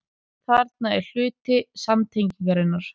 Þarna er að hluti samtengingarinnar.